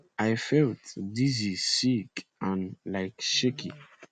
i felt dizzy sick and like shaky